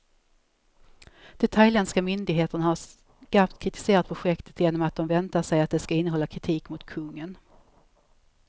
De thailändska myndigheterna har skarpt kritiserat projektet, genom att de väntar sig att det ska innehålla kritik mot kungen.